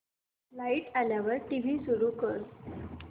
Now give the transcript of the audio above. light आल्यावर TV सुरू कर